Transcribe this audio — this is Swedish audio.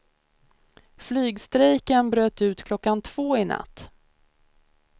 Flygstrejken bröt ut klockan två i natt.